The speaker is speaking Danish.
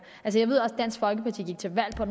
jeg ved også at dansk folkeparti gik til valg på